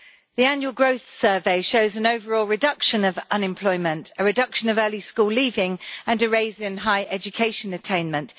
The annual growth survey shows an overall reduction of unemployment, a reduction of early school leaving and a rise in high education attainment.